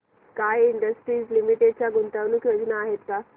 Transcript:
sky Industries Limited च्या गुंतवणूक योजना आहेत का